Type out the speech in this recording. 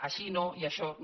així no i això no